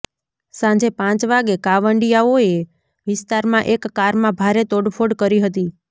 સાંજે પાંચ વાગે કાંવડિયાઓએ વિસ્તારમાં એક કારમાં ભારે તોડફોડ કરી હતી